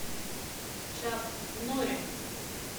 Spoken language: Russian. чак норрис